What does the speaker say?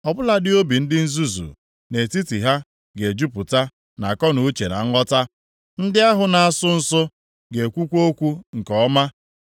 Ọ bụladị obi ndị nzuzu nʼetiti ha ga-ejupụta nʼakọnuche na nghọta, ndị ahụ na-asụ nsụ ga-ekwukwa okwu nke ọma.